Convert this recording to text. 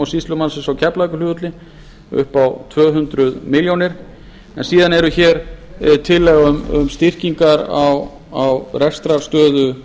sýslumannsins á keflavíkurflugvelli upp á tvö hundruð milljóna króna síðan er tillaga um styrkingar á rekstrarstöðu